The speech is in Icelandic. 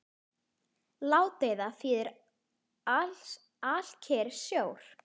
Ládeyða þýðir alkyrr sjór.